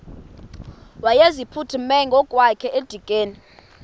wayeziphuthume ngokwakhe edikeni